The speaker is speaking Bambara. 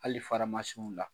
Hali faramasinw la